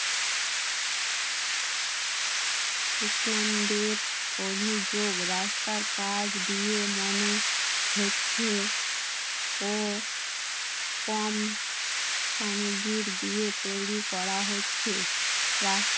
অভিযোগ রাস্তার কাজ দিয়ে মনে হচ্ছে ও কম আমি ভীর দিয়ে তৈরি করা হচ্ছে রাস্তার